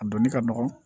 A donni ka nɔgɔn